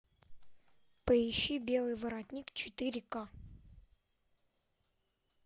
поищи белый воротник четыре ка